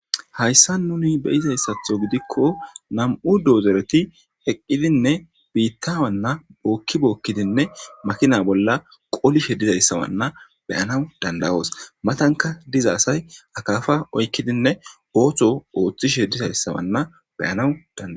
hayssa nuni beyizayssatho gidikko nam7u doozereti heqqidinne biitta wanna bookki bookkidinne makina bolla qolishe dizayssa wanna beyanaw dandawoos matanka diza asay akaafa oykkidinne ooththo ooththishe dizayssa wanna beyanaw danda